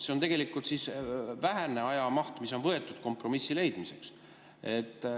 See on tegelikult vähene ajamaht, mis on võetud kompromissi leidmiseks.